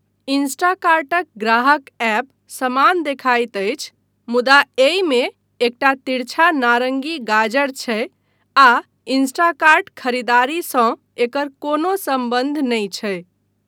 इंस्टाकार्टक ग्राहक ऐप समान देखाइत अछि मुदा एहिमे एकटा तिरछा नारङ्गी गाजर छै आ इंस्टाकार्ट खरीदारीसँ एकर कोनो सम्बन्ध नहि छै।